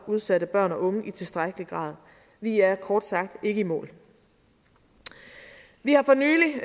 udsatte børn og unge i tilstrækkelig grad vi er kort sagt ikke i mål vi har for nylig